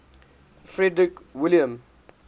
frederick william